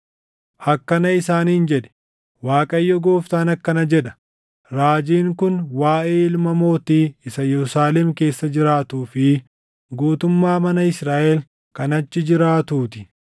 “Akkana isaaniin jedhi; ‘ Waaqayyo Gooftaan akkana jedha: Raajiin kun waaʼee ilma mootii isa Yerusaalem keessa jiraatuu fi guutummaa mana Israaʼel kan achi jiraatuu ti.’